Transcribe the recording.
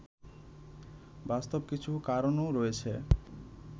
বাস্তব কিছু কারণও রয়েছে